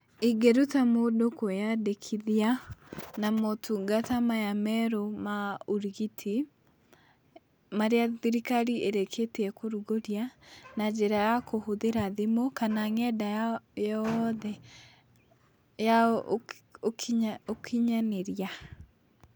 ĩngĩruta mũndũ kwĩyandĩkithia na motungata maya merũ ma ũrigiti marĩa thirikari ĩrĩkĩtie kũrugũria na njĩra ya kũhũthĩra thimũ kana ng'enda ya yothe ya ũkinyanĩria